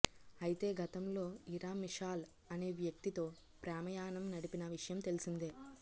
అయితే గతంలో ఇరా మిషాల్ అనే వ్యక్తితో ప్రేమాయాణం నడిపిన విషయం తెలిసిందే